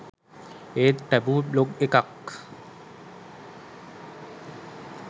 ඒත් taboo blog එකක්